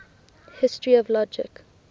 history of logic